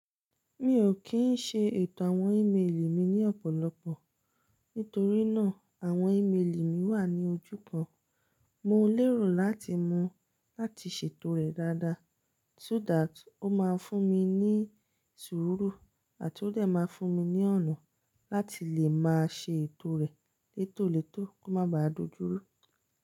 Mi ò kí n ṣe ètò àwọn ímeèlì mi ní ọ̀pọ̀lọpọ̀. Nítorí náà àwọn ímeèlì mi wà ní ojú kan. Mo lérò láti mo láti ṣètò rẹ̀ dáadáa so that ó máa fún mi ní sùúrù àti ó dẹ̀ máa fún mi ní ọ̀nà láti lè máa ṣe ètò rẹ̀ létólètó kó má ba à dojúrú.